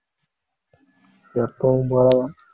எப்பவும் போலதான்